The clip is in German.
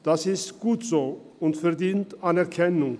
Das ist gut so und verdient Anerkennung.